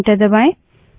अब एंटर दबायें